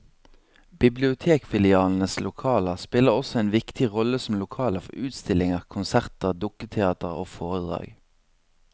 Bibliotekfilialenes lokaler spiller også en viktig rolle som lokaler for utstillinger, konserter, dukketeater og foredrag.